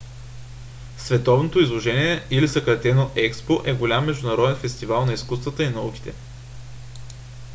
световното изложение или съкратено експо е голям международен фестивал на изкуствата и науките